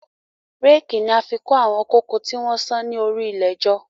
Réèkì ni a fi kó àwọn kóko tí wọ́n sán ni orí ilẹ̀ jọ